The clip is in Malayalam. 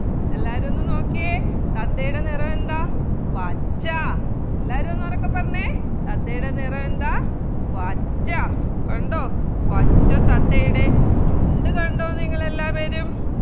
എല്ലാവരും ഒന്ന് നോക്കിയെ തത്തയുടെ നിറമെന്താ പച്ച എല്ലാവരും ഒന്നുറക്കെ പറഞ്ഞെ തത്തയുടെ നിറമെന്താ പച്ച കണ്ടോ പച്ച തത്തയുടെ ചുണ്ട് കണ്ടോ നിങ്ങൾ എല്ലാവരും